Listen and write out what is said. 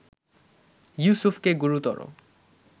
ইউসুফকে গুরুতর